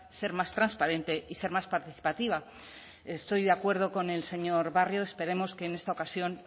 ser más transparente y ser más participativa estoy de acuerdo con el señor barrio esperemos que en esta ocasión